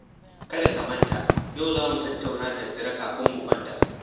Kada ka manta yau za mu tattauna da daddare kafin mu kwanta